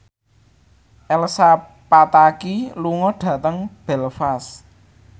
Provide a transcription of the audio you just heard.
Elsa Pataky lunga dhateng Belfast